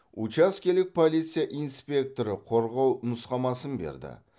учаскелік полиция инспекторы қорғау нұсқамасын берді